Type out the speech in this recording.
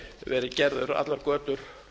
verið gerður allar götur